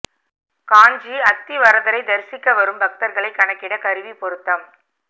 காஞ்சி அத்தி வரதரை தரிசிக்க வரும் பக்தர்களை கணக்கிட கருவி பொருத்தம்